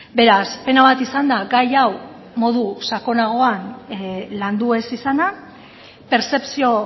beraz pena bat izan da gai hau modu sakonagoan landu ez izana pertzepzio